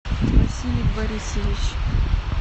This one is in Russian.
василий борисович